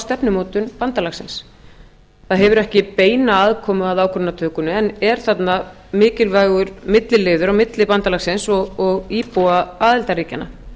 stefnumótun bandalagsins það hefur ekki beina aðkomu að ákvarðanatökunni en er þarna mikilvægur milliliður á milli bandalagsins og íbúa aðildarríkjanna